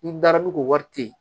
N'i dara ni k'o wari to yen